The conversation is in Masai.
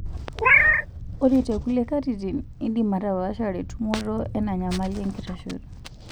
Ore tekulie katitin, indim atapaashare tumoto enanyamali enkitashoto.